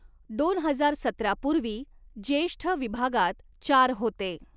दोन हजार सतरा पूर्वी ज्येष्ठ विभागात चार होते.